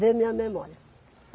ver minha memória.